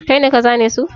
Kai ne ka zane su?